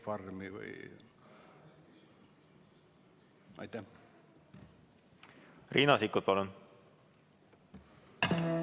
Riina Sikkut, palun!